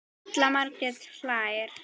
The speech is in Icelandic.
Halla Margrét hlær.